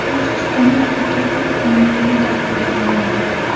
Tojikistonda aka o‘z singlisining qotiliga aylandi .